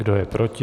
Kdo je proti?